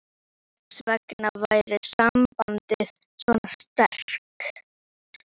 Þess vegna væri sambandið svona sterkt.